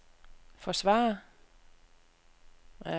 forsvarer